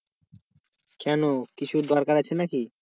কেন কিছুর দরকার আছে নাকি?